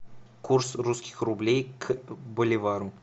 курс русских рублей к боливару